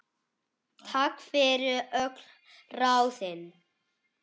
Takk fyrir öll ráðin.